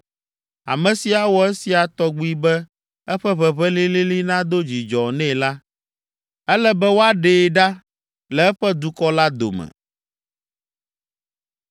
Ame si awɔ esia tɔgbi be eƒe ʋeʋẽ lĩlĩlĩ nado dzidzɔ nɛ la, ele be woaɖee ɖa le eƒe dukɔ la dome.”